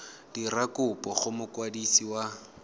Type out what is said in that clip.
dira kopo go mokwadisi wa